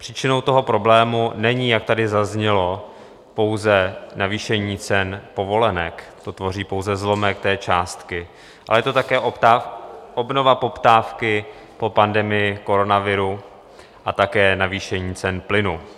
Příčinou toho problému není, jak tady zaznělo, pouze navýšení cen povolenek, to tvoří pouze zlomek té částky, ale je to také obnova poptávky po pandemii koronaviru a také navýšení cen plynu.